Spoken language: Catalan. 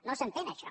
no s’entén això